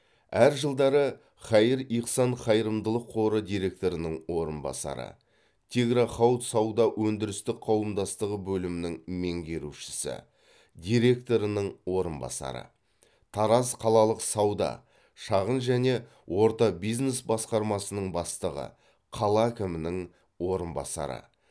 әр жылдары хаир ихсан қайырымдылық қоры директорының орынбасары тигро хауд сауда өндірістік қауымдастығы бөлімінің меңгерушісі директорының орынбасары тараз қалалық сауда шағын және орта бизнес басқармасының бастығы қала әкімінің орынбасары